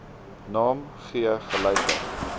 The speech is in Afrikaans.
naam gee gelyke